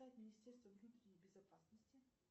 министерство внутренней безопасности